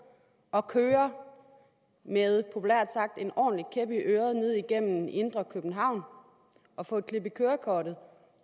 at køre med populært sagt en ordentlig kæp i øret ned igennem indre københavn og få et klip i kørekortet